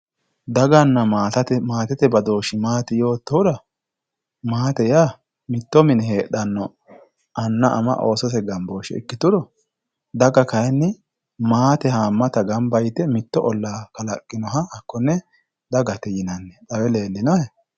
daganna maatete badooshshi maati yoottohura maate yaa mitto mine heedhanno anna ama oosote gambooshshe ikkituro daga kayeenni maate haammata gamba yite mitto ollaa kalaqqinoha dagate yinanni xawe leellinohe